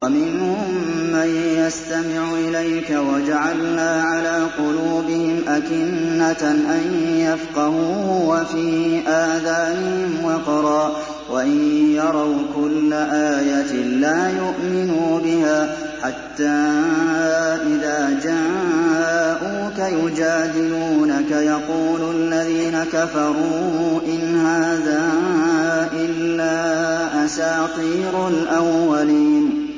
وَمِنْهُم مَّن يَسْتَمِعُ إِلَيْكَ ۖ وَجَعَلْنَا عَلَىٰ قُلُوبِهِمْ أَكِنَّةً أَن يَفْقَهُوهُ وَفِي آذَانِهِمْ وَقْرًا ۚ وَإِن يَرَوْا كُلَّ آيَةٍ لَّا يُؤْمِنُوا بِهَا ۚ حَتَّىٰ إِذَا جَاءُوكَ يُجَادِلُونَكَ يَقُولُ الَّذِينَ كَفَرُوا إِنْ هَٰذَا إِلَّا أَسَاطِيرُ الْأَوَّلِينَ